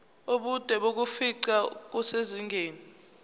ubude bokufingqa kusezingeni